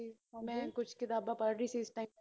ਓ ਮੈ ਕੁਝ ਕਿਤਾਬਾਂ ਪੜ੍ਹ ਰਹੀ ਸੀ ਇਸ Time ਤੇ